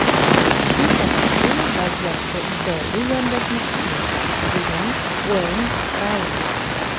Shu sababli vaziyatga ijodiy yondashmoqchimiz”, degan Ueyn Rayli.